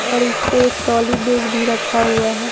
और इसपे एक ट्रोली बैग भी रखा हुआ है।